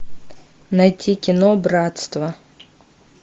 найти кино братство